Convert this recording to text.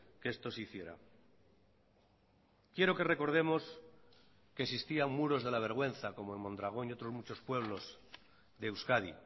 que esto se hiciera quiero que recordemos que existían muros de la vergüenza como en mondragón y otros muchos pueblos de euskadi